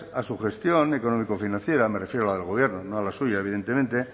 a su gestión económico financiera me refiero a la del gobierno no a la suya evidentemente